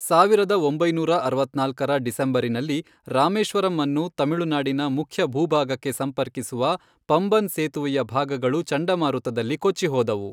ಸಾವಿರದ ಒಂಬೈನೂರ ಅರವತ್ನಾಲ್ಕರ ಡಿಸೆಂಬರಿನಲ್ಲಿ, ರಾಮೇಶ್ವರಂ ಅನ್ನು ತಮಿಳುನಾಡಿನ ಮುಖ್ಯ ಭೂಭಾಗಕ್ಕೆ ಸಂಪರ್ಕಿಸುವ ಪಂಬನ್ ಸೇತುವೆಯ ಭಾಗಗಳು ಚಂಡಮಾರುತದಲ್ಲಿ ಕೊಚ್ಚಿ ಹೋದವು.